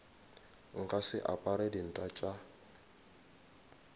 nka se apare dinta tša